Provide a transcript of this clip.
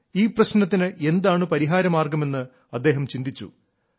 ഈ പ്രശ്നത്തിന് എന്താണ് പരിഹാരമാർഗ്ഗമെന്ന് അദ്ദേഹം ചിന്തിച്ചു